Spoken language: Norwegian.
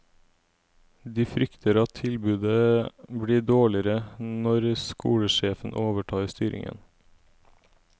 De frykter at tilbudet blir dårligere når skolesjefen overtar styringen.